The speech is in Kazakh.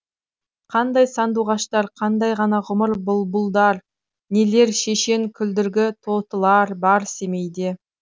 қандай сандуғаштар қандай ғана құмыр бұлбұлдар нелер шешен күлдіргі тотылар бар семейде